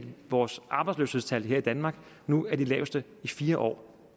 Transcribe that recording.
vores arbejdsløshedstal her i danmark nu er de laveste i fire år